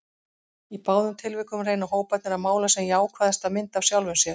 Í báðum tilvikum reyna hóparnir að mála sem jákvæðasta mynd af sjálfum sér.